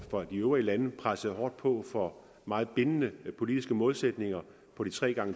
for de øvrige lande pressede hårdt på for meget bindende politiske målsætninger på